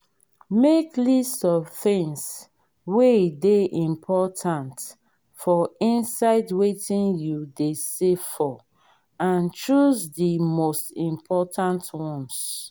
make list of things wey dey important for inside wetin you dey save for and choose di most important ones